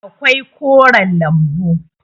akwai koren lambu